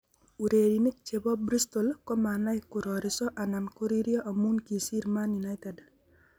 'Urerik che bo Bristol ko manai kororiso anan koririo amu kisiir Man United''